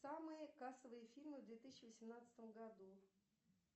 самые кассовые фильмы в две тысячи восемнадцатом году